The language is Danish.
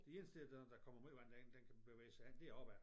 Det eneste der når der kommer meget vand derind den kan bevæge sig hen det er opad